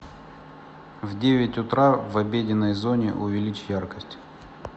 в девять утра в обеденной зоне увеличь яркость